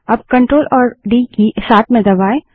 अब Ctrl और D की साथ में दबायें